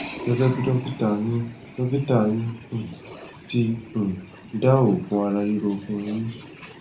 gẹgẹ bí dọkítà yín dọkítà yín um ti um dá òògùn ara ríro fún un yín